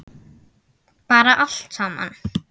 Bara allt saman.